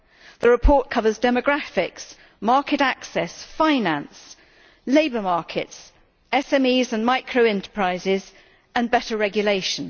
The report covers demographics, market access, finance, labour markets, SMEs and micro enterprises and better regulation.